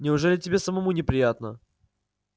неужели тебе самому не приятно